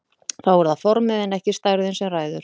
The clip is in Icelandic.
Þá er það formið en ekki stærðin sem ræður.